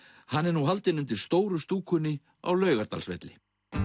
hann er nú haldinn undir stóru stúlkunni á Laugardalsvelli